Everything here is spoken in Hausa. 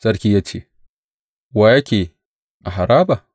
Sarki ya ce, Wa yake a haraba?